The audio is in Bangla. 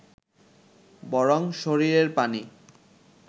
বরং শরীরের পানি